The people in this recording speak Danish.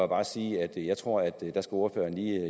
bare sige at jeg tror at ordføreren lige